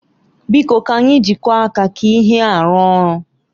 Biko ka anyị jikọọ aka ka ihe a rụọ ọrụ.